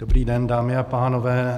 Dobrý den, dámy a pánové.